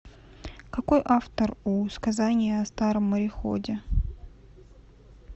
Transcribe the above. какой автор у сказание о старом мореходе